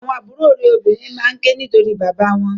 Àwọn àbúrò rẹ obìnrin maa ke nitori bàbá wọn.